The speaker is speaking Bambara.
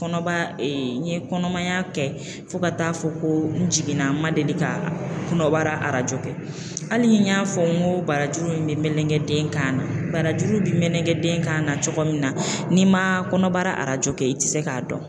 Kɔnɔbara n ye kɔnɔmaya kɛ fo ka taa fɔ ko n jiginna ma deli ka kɔnɔbara arajo kɛ hali ni n y'a fɔ n ko barajuru in bɛ melenge den kan na , barajuru bi mlenge den kan na cogo min na, n'i ma kɔnɔbara arajo kɛ i tɛ se k'a dɔn.